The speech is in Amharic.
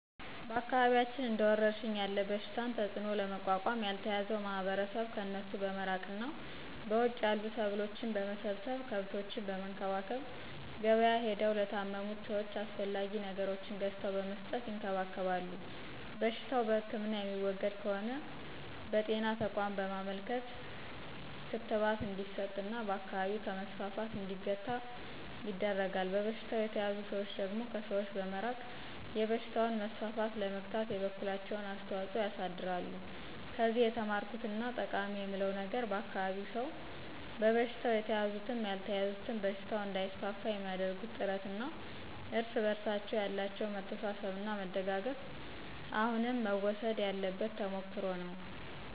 በአካባቢያችን እንደ ወረርሽኝ ያለ በሽታን ተጽዕኖ ለመቋቋም ያልተያዘው ማህበረሰብ ከእነሱ በመራቅ እና በውጭ ያሉ ሰብሎችን በመሰብሰብ፣ ከብቶችን በመንከባከብ፣ ገብያ ሄደው ለታመሙት ሰወች አስፈላጊ ነገሮችን ገዝተው በመስጠት ይንከባከባሉ። በሽታው በህክምና የሚወገድ ከሆነ ለብጤና ተቋም በማመልከት ክትባት እንዲስጥ እና በአካባቢው ከመስፋፋት እንዲገታ ይደረጋል። በበሽታው የተያዙ ሰዎች ደግሞ ከሰዎች በመራቅ የበሽታውን መስፋፋት ለመግታት የበኩላቸውን አስተዋፅኦ ያሳድራሉ። ከዚህ የተማርኩት እና ጠቃማ የምለው ነገር የአካባቢው ሰው በበሽታው የተያዙትም ያልተያዙትም በሽታው እንዳይስፋፋ የሚአደርጉት ጥረት እና እርስ በርሳቸው ያላቸው መተሳሰብ እና መደጋገፍ አሁንም መወሰድ ያለበት ተሞክሮ ነው።